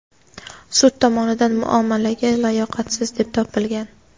sud tomonidan muomalaga layoqatsiz deb topilgan;.